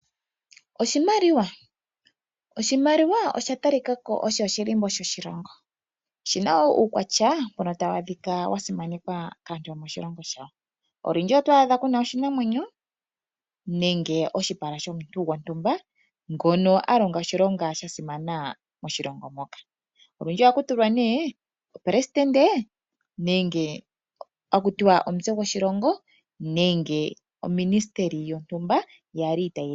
Oshimaliwa osha ta li kako kutya osho shilimo sho shilongo. Oshina woo uukwatya mbono wa simanekwa kaantu yomoshilongo sha wo. Olundji oto adha kuna oshinamwenyo, nenge oshipala shomuntu gwontumba ngono alonga oshilonga shasimana moshilongo moka. Olundji oha ku tulwa nee presitende nenge nenge ominisiteli yontumba.